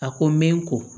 A ko n bɛ n ko